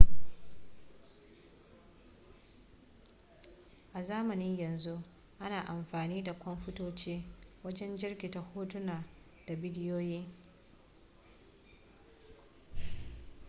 a zamanin yanzu ana amfani da kwamfutoci wajen jirkita hotuna da bidiyoyi